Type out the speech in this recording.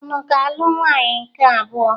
Ị ga-alụ nwaanyị nke abụọ?